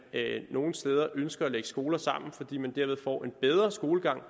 nogle steder ønsker at lægge skoler sammen fordi skolegangen